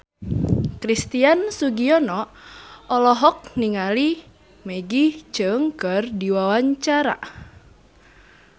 Christian Sugiono olohok ningali Maggie Cheung keur diwawancara